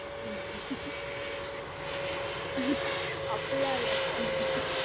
ம் அப்படிலாம் இல்ல sir